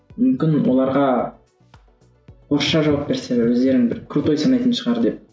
мүмкін оларға орысша жауап берсе өздерін бір крутой санайтын шығар деп